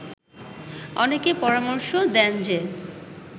অনেকে পরামর্শ দেন যে